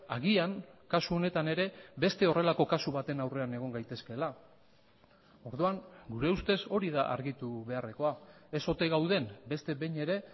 agian kasu honetan ere beste horrelako kasu baten aurrean egon gaitezkeela orduan gure ustez hori da argitu beharrekoa ez ote gauden beste behin ere